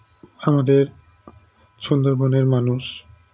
আমাদের সুন্দরবনের মানুষ